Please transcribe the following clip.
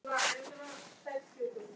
Stilltu þig, maður!